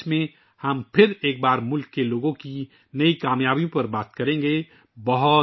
2024 میں ہم ایک بار پھر ملک کے عوام کی نئی کامیابیوں پر بات کریں گے